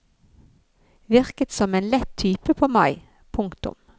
Virket som en lett type på meg. punktum